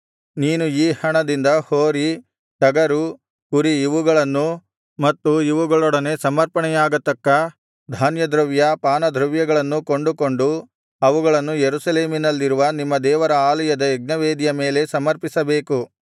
ನೀನು ಈ ಹಣದಿಂದ ಹೋರಿ ಟಗರು ಕುರಿ ಇವುಗಳನ್ನೂ ಮತ್ತು ಇವುಗಳೊಡನೆ ಸಮರ್ಪಣೆಯಾಗತಕ್ಕ ಧಾನ್ಯದ್ರವ್ಯ ಪಾನದ್ರವ್ಯಗಳನ್ನೂ ಕೊಂಡುಕೊಂಡು ಅವುಗಳನ್ನು ಯೆರೂಸಲೇಮಿನಲ್ಲಿರುವ ನಿಮ್ಮ ದೇವರ ಆಲಯದ ಯಜ್ಞವೇದಿಯ ಮೇಲೆ ಸಮರ್ಪಿಸಬೇಕು